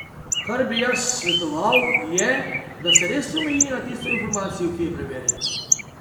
Kar bi jaz svetoval, je, da se res omeji na tisto informacijo, ki je preverjena.